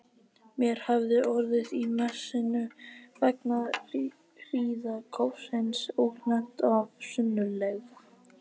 Mér hafði orðið á í messunni vegna hríðarkófsins og lent of sunnarlega.